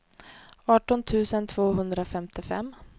arton tusen tvåhundrafemtiofem